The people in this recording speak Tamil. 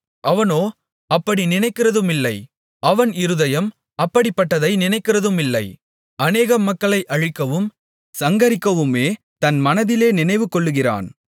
அவனோ அப்படி நினைக்கிறதுமில்லை அவன் இருதயம் அப்படிப்பட்டதை நினைக்கிறதுமில்லை அநேகம் மக்களை அழிக்கவும் சங்கரிக்கவுமே தன் மனதிலே நினைவுகொள்ளுகிறான்